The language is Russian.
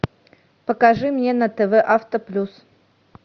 покажи мне на тв авто плюс